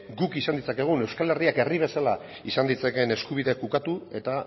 guk izan ditzakegun euskal herriak herri bezala izan ditzakeen eskubideak ukatu eta